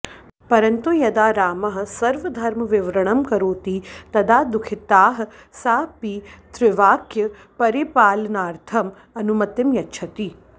परन्तु यदा रामः स्वधर्मविवरणं करोति तदा दुःखिता सा पितृवाक्यपरिपालनार्थं अनुमतिं यच्छति